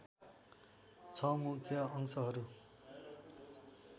६ मुख्य अंशहरू